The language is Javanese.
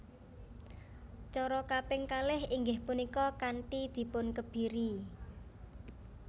Cara kaping kalih inggih punika kanthi dipunkebiri